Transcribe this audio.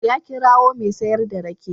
Ya kirawo mai sayar da rake.